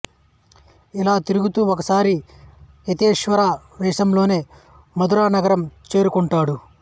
ఇలా తిరుగుతూ ఒకసారి యతీశ్వర వేషంలోనే మధుర నగరం చేరుకోంటాడు